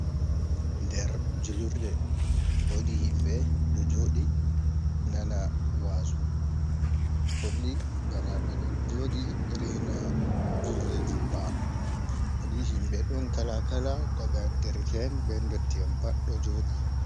Nder jullurde wodi himɓe ɗo joɗi nana wazu, holli bana ɓe ɗo joɗi reina julde jumɓa, wodi himɓe ɗon kalakala daga derk'en be dotti'en pat ɗo joɗi,